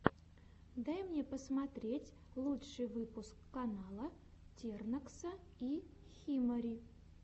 дай мне посмотреть лучший выпуск канала тернокса и химари